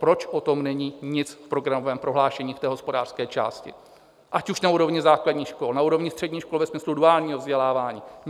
Proč o tom není nic v programovém prohlášení v té hospodářské části, ať už na úrovni základních škol, na úrovni středních škol ve smyslu duálního vzdělávání?